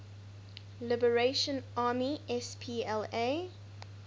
liberation army spla